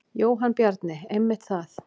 Jóhann Bjarni: Einmitt það.